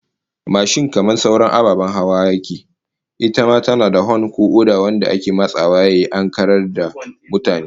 Mashin kamar sauran ababen hawa, ita ma tana da hon ko oda wanda ake matsawa yayi kara don ankarar da mutane